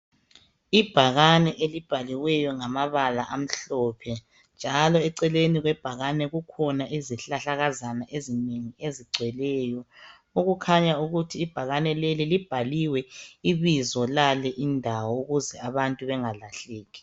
Ibhakani elibhaliweyo ngamabala amhlophe. Njalo eceleni kwebhakani kukhona izihlahlakaza ezinengi ezigcweleyo. Okukhanya ukuthi ibhakani leli libhaliwe ibizo lale indawo ukuze abantu bengalahleki.